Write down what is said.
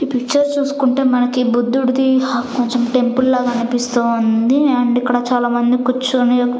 ఈ పిక్చర్ చూసుకుంటే మనకి బుద్ధుడిది హ కొంచెం టెంపుల్ లాగా అనిపిస్తూ ఉంది అండ్ ఇక్కడ చాలా మంది కూర్చుని ఒక --